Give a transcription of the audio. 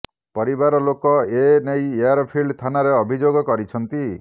ପରିବାର ଲୋକ ଏ ନେଇ ଏୟାରଫିଲ୍ଡ ଥାନାରେ ଅଭିଯୋଗ କରିଛନ୍ତି